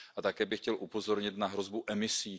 Také bych chtěl upozornit na hrozbu emisí.